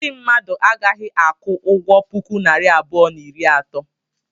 Ndị mmadụ a gaghị aku ụgwọ puku naira abụọ na iri ato.